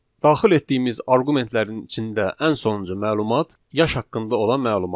Daxil etdiyimiz arqumentlərin içində ən sonuncu məlumat yaş haqqında olan məlumat.